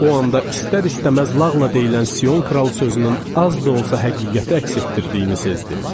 O anda istər-istəməz lağla deyilən Sion kral sözünün az da olsa həqiqəti əks etdirdiyini sezdim.